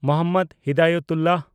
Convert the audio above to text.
Mohammad Hidayatullah